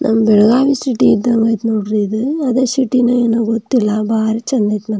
ನಮ್ ಬೆಳಗಾವಿ ಸಿಟಿ ಇದ್ದಂಗೆ ಐತೆ ನೋಡ್ರಿ ಇದು ಅದೇ ಸಿಟಿ ಏನೋ ಗೊತ್ತಿಲ್ಲ ಬಾರಿ ಚಂದ್ ಐತೆ --